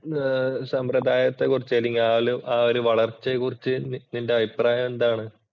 ആ ഒരു സമ്പ്രദായത്തെക്കുറിച്ച് അല്ലെങ്കിൽ ആ ഒരു വളർച്ചയെ കുറിച്ച് നിന്‍റെ അഭിപ്രായം എന്താണ്?